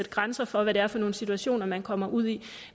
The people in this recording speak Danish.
grænser for hvad det er for nogle situationer man kommer ud i